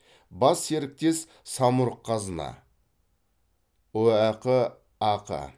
бас серіктес самұрық қазына ұәқ ақ